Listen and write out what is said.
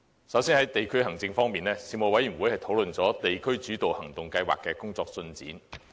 首先，在地區行政方面，事務委員會討論了"地區主導行動計劃"的工作進展。